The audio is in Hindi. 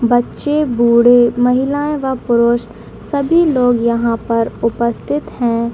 बच्चे बूढे महिला व पुरुष सभी लोग यहां पर उपस्थित हैं।